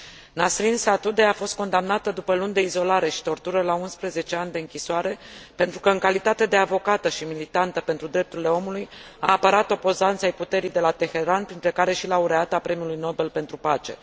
Nasrin Sotoudeh a fost condamnată, după luni de izolare și tortură, la 11 ani de închisoare, pentru că, în calitate de avocată și militantă pentru drepturile omului, a apărat opozanți ai puterii de la Teheran, printre care și laureata premiului Nobel pentru pace.